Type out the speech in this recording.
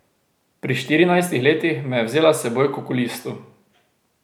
Pri štirinajstih letih me je vzela s seboj k okulistu.